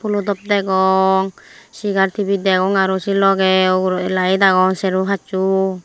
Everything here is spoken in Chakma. fhulo top degong segar tebil degong aro sei logey ugurey laed agon serbo passo.